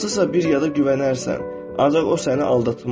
Hansısa bir yada güvənərsən, ancaq o səni aldatmaz.